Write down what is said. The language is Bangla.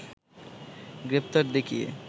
গ্রেপ্তার দেখিয়ে